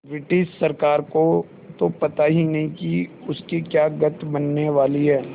British सरकार को तो पता ही नहीं कि उसकी क्या गत बनने वाली है